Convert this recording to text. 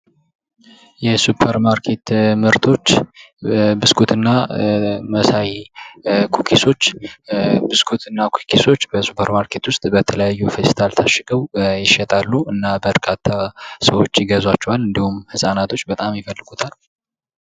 የሱፐር ማርኬት ምርቶች ብስኩትና መሳይ ኩኪሶች ብስኩትና ኩኪሶች በሱፐር ማርኬት ውስጥ በተለያዩ ፔስታል ታሽገው ይሸጣሉ። እና በርካታ ሰዎች ይገዟቸዋ። እንዲሁም ህፃናቶች ይገዟቸዋል።